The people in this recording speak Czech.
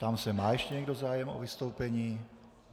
Ptám se, má ještě někdo zájem o vystoupení?